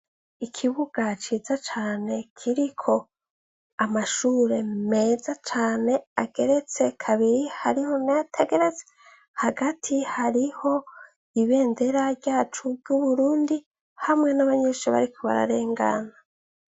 Ikibuga ciza cane kiriko amashure meza cane ageretse kabiri hariho nayoategereze hagati hariho ibendera ryacu ry'uburundi hamwe n'abanyenshi barikubararengana.